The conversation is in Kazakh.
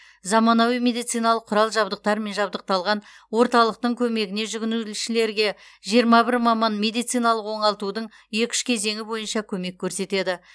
заманауи медициналық құрал жабдықтармен жабдықталған орталықтың көмегіне жүгінушілерге жиырма бір маман медициналық оңалтудың екі үш кезеңі бойынша көмек көрсетеді